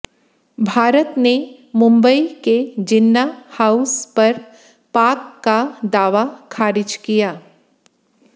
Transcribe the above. भारत ने मुंबई के जिन्ना हाउस पर पाक का दावा खारिज किया